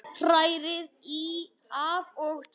Hrærið í af og til.